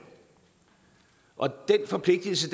og den forpligtelse